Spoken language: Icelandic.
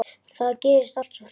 Það gerðist allt svo hratt.